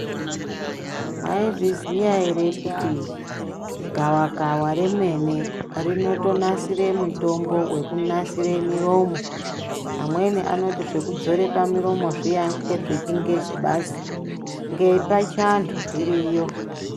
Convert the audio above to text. Mwaizviziya ere kuti gawakawa remene rinotonasire mitombo inotonasira miromo amweni anoti zvekudzora pamuromo zviya ngezvechingezi basi nepachiantu zviriyo.